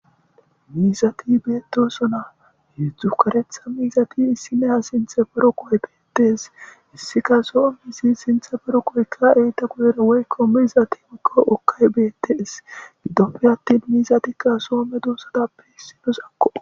Miizathi beeththoosona; heezzu kareththa miizathi issimehiya sinththan boroqoykka des; issi qa zo7o sinththa boroqoykka woykko miizathi beeththees; gidoppe aththin miizathi so medoosathappe issuwakko.